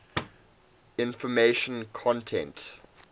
information content